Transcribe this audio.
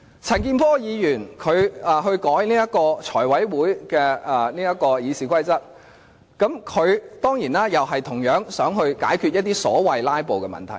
陳健波議員要修改《財務委員會會議程序》，他當然同樣想解決一些所謂"拉布"的問題。